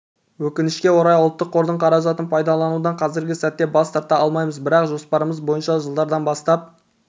өкінішке орай ұлттық қордың қаражатын пайдаланудан қазіргі сәтте бас тарта алмаймыз бірақ жоспарымыз бойынша жылдардан бастап